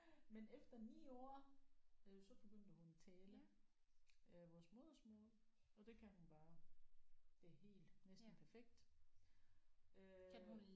Men efter 9 år øh så begyndte hun at tale øh vores modersmål og det kan hun bare det helt næsten perfekt øh